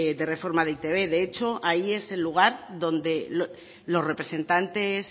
de reforma de e i te be de hecho ahí es el lugar donde los representantes